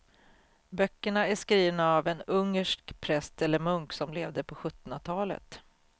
Böckerna är skrivna av en ungersk präst eller munk som levde på sjuttonhundratalet.